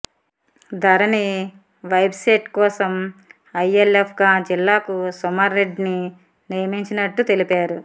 ధరణి website కోసం ఐఎల్ఎప్ గా జిల్లాకు సుమన్రెడ్డిని నియమించినట్టు తెలిపారు